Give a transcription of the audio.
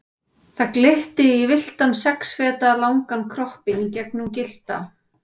Það glitti í villtan sex feta langan kroppinn gegnum gyllta